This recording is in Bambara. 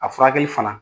A furakɛli fana